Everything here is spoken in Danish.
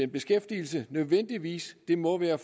beskæftigelse nødvendigvis må være